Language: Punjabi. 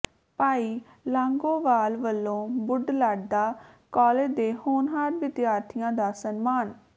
ਭਾਈ ਲੌਾਗੋਵਾਲ ਵਲੋਂ ਬੁਢਲਾਡਾ ਕਾਲਜ ਦੇ ਹੋਣਹਾਰ ਵਿਦਿਆਰਥੀਆਂ ਦਾ ਸਨਮਾਨ